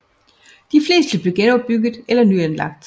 De fleste blev genopbygget eller nyanlagt